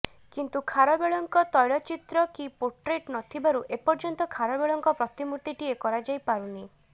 କିନ୍ତୁ ଖାରବେଳଙ୍କ ତ୘ଳଚିତ୍ର କି ପୋଟ୍ରେଟ୍ ନଥିବାରୁ ଏପର୍ଯ୍ୟନ୍ତ ଖାରବେଳଙ୍କ ପ୍ରତିମୂର୍ତିଟିଏ କରାଯାଇପାରୁନି